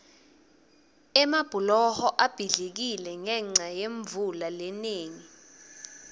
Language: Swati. emabhuloho abhidlikile ngenca yemvula lenengi